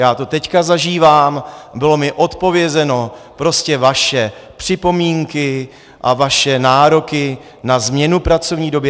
Já to teď zažívám, bylo mi odpovězeno, prostě vaše připomínky a vaše nároky na změnu pracovní doby...